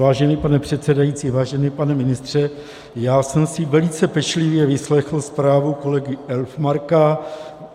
Vážený pane předsedající, vážený pane ministře, já jsem si velice pečlivě vyslechl zprávu kolegy Elfmarka.